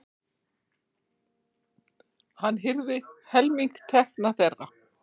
Hann hirði helming tekna þeirra.